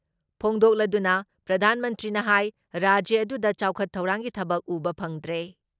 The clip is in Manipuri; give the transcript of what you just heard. ꯐꯣꯡꯗꯣꯛꯂꯗꯨꯅ ꯄ꯭ꯔꯙꯥꯟ ꯃꯟꯇ꯭ꯔꯤꯅ ꯍꯥꯏ ꯔꯥꯖ꯭ꯌ ꯑꯗꯨꯗ ꯆꯥꯎꯈꯠ ꯊꯧꯔꯥꯡꯒꯤ ꯊꯕꯛ ꯎꯕ ꯐꯪꯗ꯭ꯔꯦ ꯫